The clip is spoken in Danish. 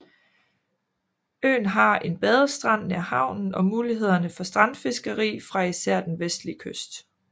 Øen har en badestrand nær havnen og mulighederne for strandfiskeri fra især den vestlige kyst